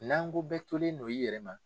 N'an ko bɛɛ tolen don i yɛrɛ ma.